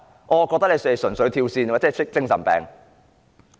我卻認為他們純粹"跳線"，有精神病。